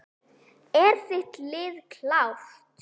Er þitt lið klárt?